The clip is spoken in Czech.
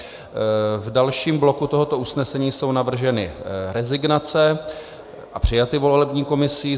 V dalším bloku tohoto usnesení jsou navrženy rezignace a přijaty volební komisí.